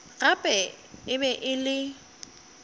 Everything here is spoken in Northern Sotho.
gape e be e le